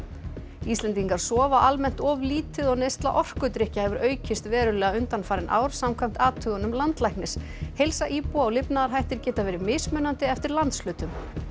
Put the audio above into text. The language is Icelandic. Íslendingar sofa almennt of lítið og neysla orkudrykkja hefur aukist verulega undanfarin ár samkvæmt athugunum landlæknis heilsa íbúa og lifnaðarhættir geta verið mismunandi eftir landshlutum